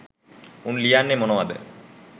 උන් ලියන්නේ මොනවද